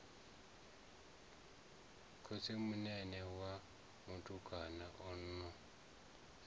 khotsimunene wa mutukana a no